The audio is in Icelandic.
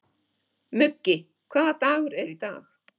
Muggi, hvaða dagur er í dag?